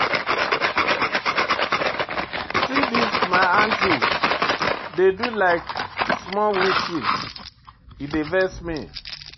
See as dese my aunties dey do like small witches, e dey vex me.